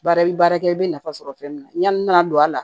Baara i bɛ baara kɛ i bɛ nafa sɔrɔ fɛn min na yani n'a don a la